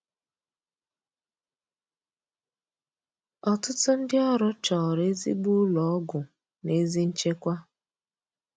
Ọtụtụ ndị ọrụ chọrọ ezigbo ụlọ ọgwụ na ezi nchekwa